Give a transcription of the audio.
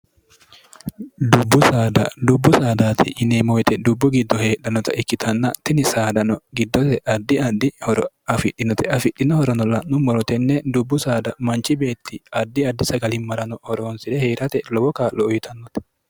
buddubbu saadaati yineemoyite dubbu giddo heedhannota ikkitanna tini saadano giddose addi addhi horo afidhinote afidhino horono la'nu morotenne dubbu saada manchi beetti addi addi sagalimmarano horoonsi're hee'rate lowo kaa'lo uyitannote